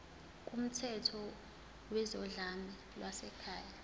kumthetho wezodlame lwasekhaya